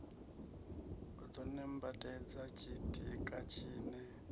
u ḓo nambatedza tshitika tshine